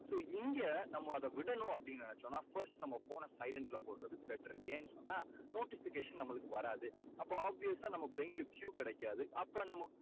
so இங்க இப்போ அதை விடணும் அப்படீன்னு நினைச்சோம்னா phone னை silent ல போடறது beter ஏன்னு சொன்னா notification நம்மளுக்கு வராது. அப்போ obvious சா நம்ம brain க்கு Q கிடைக்காது. அப்போ நம்ம